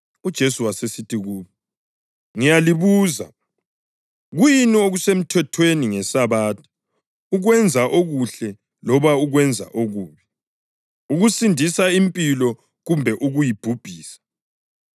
UJesu wasesithi kubo, “Ngiyalibuza, kuyini okusemthethweni ngeSabatha: ukwenza okuhle loba ukwenza okubi, ukusindisa impilo kumbe ukuyibhubhisa?”